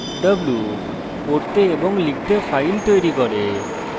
wপড়তে এবং লিখতে file তৈরী করে